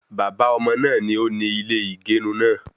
Baba ọmọ náà ni ó ní ilé ìgerun naa